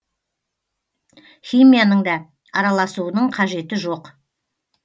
химияның да араласуының қажеті жоқ